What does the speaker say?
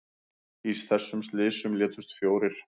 Í þessum slysum létust fjórir